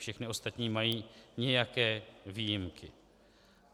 Všechny ostatní mají nějaké výjimky.